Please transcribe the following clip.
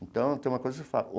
Então, tem uma coisa que eu falo.